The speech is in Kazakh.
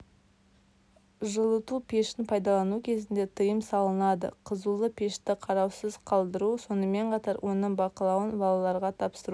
жылыту пешін пайдалану кезінде тыйым салынады қызулы пешті қараусыз қалтыру сонымен қатар оның бақылауын балаларға тапсыру